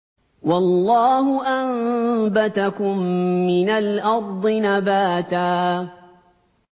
وَاللَّهُ أَنبَتَكُم مِّنَ الْأَرْضِ نَبَاتًا